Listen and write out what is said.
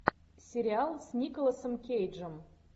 сериал с николасом кейджем